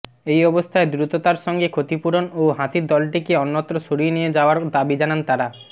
এই অবস্থায় দ্রুততার সঙ্গে ক্ষতিপূরণ ও হাতির দলটিকে অন্যত্র সরিয়ে নিয়ে যাওয়ার দাবি জানান তাঁরা